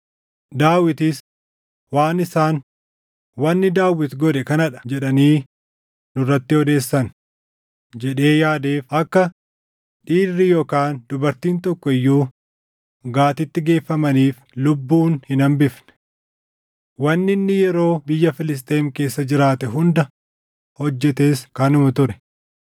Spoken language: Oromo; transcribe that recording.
Daawitis, “Waan isaan, ‘Wanni Daawit godhe kana dha’ jedhanii nurratti odeessan” jedhee yaadeef akka dhiirri yookaan dubartiin tokko iyyuu Gaatitti geeffamaniif lubbuun hin hambifne. Wanni inni yeroo biyya Filisxeem keessa jiraate hunda hojjetes kanuma ture.